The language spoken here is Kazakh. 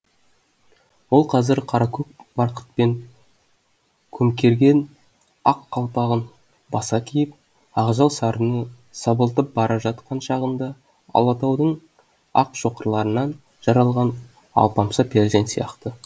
ол қазір қаракөк барқытпен көмкерген ақ қалпағын баса киіп ақжал сарыны сабылтып бара жатқан шағында алатаудың ақ шоқыларынан жаралған алпамса перзент сияқты